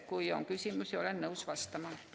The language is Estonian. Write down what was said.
Kui on küsimusi, siis olen nõus vastama.